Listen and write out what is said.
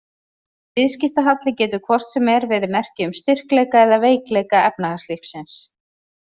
Viðskiptahalli getur hvort sem er verið merki um styrkleika eða veikleika efnahagslífsins.